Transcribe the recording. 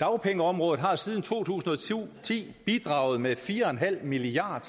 dagpengeområdet har siden to tusind og ti bidraget med fire og en halv milliard